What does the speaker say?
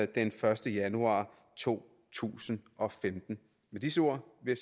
den første januar to tusind og femten med disse ord vil